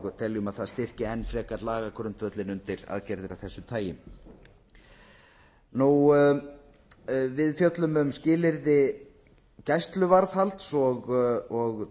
og teljum að það styrki enn frekar lagagrundvöllinn undir aðgerðir af þessu tagi við fjöllum um skilyrði gæsluvarðhalds og